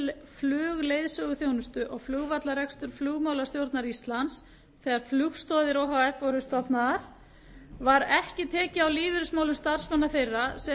flugleiðsöguþjónustu og flugvallarekstur flugmálastjórnar íslands þegar flugstoðir o h f voru stofnaðar var ekki tekið á lífeyrismálum starfsmanna þeirra sem eru